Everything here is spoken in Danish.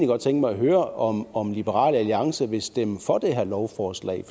godt tænke mig at høre om om liberal alliance vil stemme for det her lovforslag